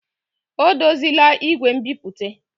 O dozila igwe nbipute.